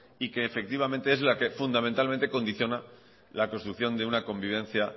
y que efectivamente es la que fundamentalmente condiciona la construcción de una convivencia